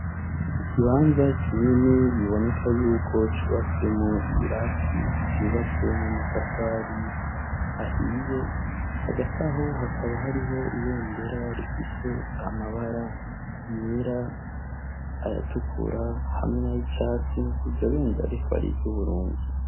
Ikibanza kinini biboneka yuko cubatswemo ibirasi vyubatswemo matafari ahiye hagati aho hakaba hariho ibendera rifise amabara yera ayatukura hamwe na y'icatsi iryo bendera rikabariryo uburundi.